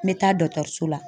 N bɛ taa dɔtɔrso la.